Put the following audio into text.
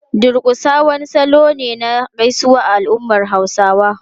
Durƙusa wani salo ne na gaisuwa a al’ummar Hausawa.